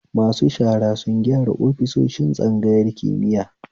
Masu shara sun gyara ofisoshin tsangayar kimiya